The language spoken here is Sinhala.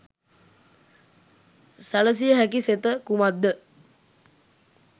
සැලසිය හැකි සෙත කුමක් ද?